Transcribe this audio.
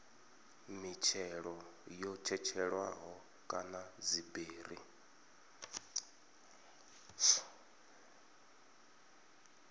mitshelo yo tshetshelelwaho kana dziberi